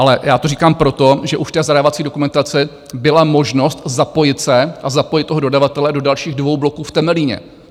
Ale já to říkám proto, že už ta zadávací dokumentace - byla možnost zapojit se a zapojit toho dodavatele do dalších dvou bloků v Temelíně.